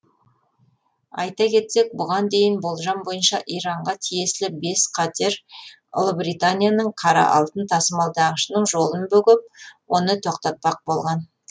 айта кетсек бұған дейін болжам бойынша иранға тиесілі бес катер ұлыбританияның қара алтын тасымалдағышының жолын бөгеп оны тоқтатпақ болған